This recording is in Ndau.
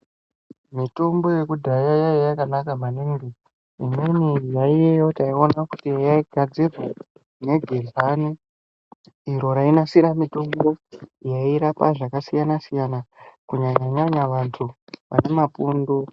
Mitombo yekudhaya yainga yakanaka maningi imweni yaiyayo taiona kuti yaigadzirwa negezani iri rainasira mitombo yairapa zvakasiyana siyana kunyanya vantu vanemapundu.